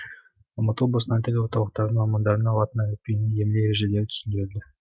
алматы облысындағы тіл орталықтарының мамандарына латын әліпбиінің емле ережелері түсіндірілді